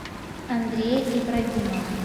андрея ибрагимова